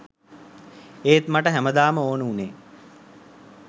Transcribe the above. ඒත් මට හැමදාම ඕන වුණේ